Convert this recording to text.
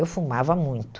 Eu fumava muito.